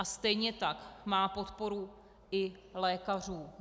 A stejně tak má podporu i lékařů.